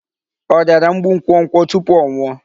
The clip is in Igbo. Ọ rịara mgbu nkwokwo tupu ọ nwụọ?